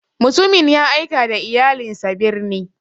Mutumin ya aika da iyalinsa birni.